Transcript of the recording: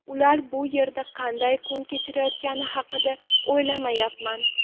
Ular bu yerda qanday kun kechirayotgani haqida o‘ylayapman.